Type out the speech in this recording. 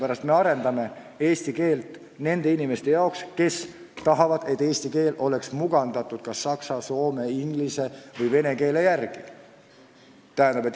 Aga me arendame eesti keelt nende inimeste jaoks, kes tahavad, et eesti keel oleks mugandatud kas saksa, soome, inglise või vene keele järgi.